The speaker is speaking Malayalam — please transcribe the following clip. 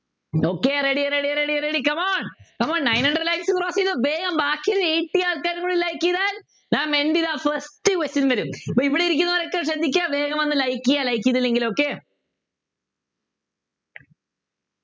Okay ready ready ready ready come on come on nine hundred likes cross ചെയ്തു വേഗം ബാക്കിയുള്ള eighty ആൾക്കാരും കൂടി like ചെയ്താൽ first question വരും ഇവിടെ ഇരിക്കുന്നവർഒക്കെ ശ്രദ്ധിക്ക വേഗം വന്നു like ചെയ്യാ like ചെയ്തില്ലെങ്കിൽ okay